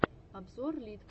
обзор литпут